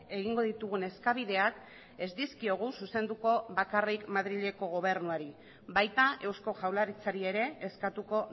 egingo ditugun eskabideak ez dizkiogu zuzenduko bakarrik madrileko gobernuari baita eusko jaurlaritzari ere eskatuko